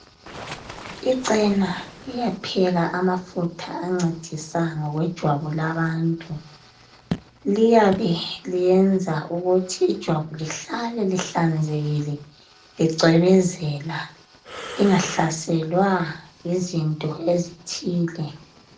Icena iyapheka amafutha ancedisa ngokwejwabu labantu liyabe liyenza ukuthi ijwabu lihlale lihlanzekile licwebezela lingahlaselwa yizinto ezithile.